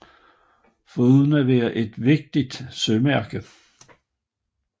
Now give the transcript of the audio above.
Foruden at være et vigtigt sømærke